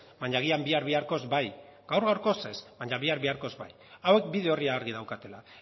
baina agian bihar biharkoz bai gaur gaurkoz ez baina bihar biharkoz ba hauek bide orria argi daukatela